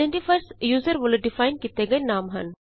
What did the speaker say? identifiers user ਵਲੋਂ define ਕੀਤੇ ਗਏ ਨਾਮ ਹਨ